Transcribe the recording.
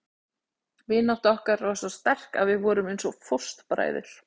Vinátta okkar var svo sterk að við vorum eins og fóstbræður.